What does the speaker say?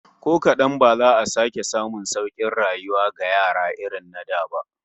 Ko kadan ba za a sake samun saukin rayuwa ga yara irin na da ba